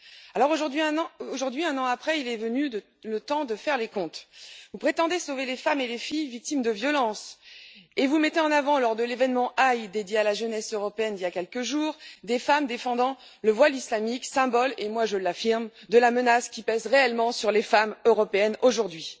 Alors aujourd'hui, un an après, est venu le temps de faire les comptes. Vous prétendez sauver les femmes et les filles victimes de violences et vous avez mis en avant, lors de l'événement EYE consacré à la jeunesse européenne il y a quelques jours, des femmes défendant le voile islamique, symbole, je l'affirme, de la menace qui pèse réellement sur les femmes européennes aujourd'hui.